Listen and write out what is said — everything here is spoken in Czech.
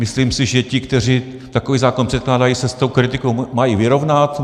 Myslím si, že ti, kteří takový zákon předkládají, se s tou kritikou mají vyrovnat.